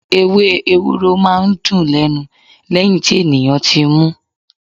Ewé Ewúro máa ń dùn lẹ́nu lẹ́yìn tí ènìyàn ti mú.